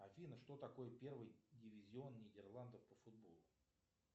афина что такое первый дивизион нидерландов по футболу